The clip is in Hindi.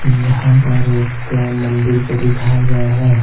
यहां पर एक मंदिर को दिखाया गया है।